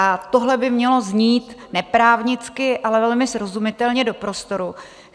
A tohle by mělo znít neprávnicky, ale velmi srozumitelně do prostoru.